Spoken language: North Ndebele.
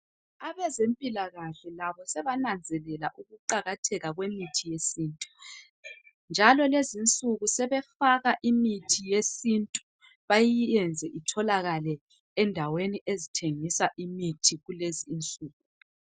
Abezempilakahle labo sebananzelela ukuqakatheka kwemithi yesintu njalo lezi nsuku sebefaka imithi yesintu bayiyenze itholakale endaweni ezithengisa imithi kulezi nsuku.